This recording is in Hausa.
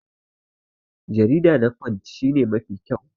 Jarida na punch shi ne Mafi kyau.